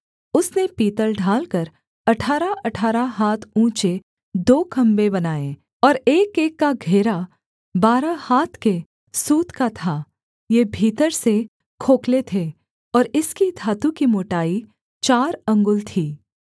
उसने पीतल ढालकर अठारहअठारह हाथ ऊँचे दो खम्भे बनाए और एकएक का घेरा बारह हाथ के सूत का था ये भीतर से खोखले थे और इसकी धातु की मोटाई चार अंगुल थी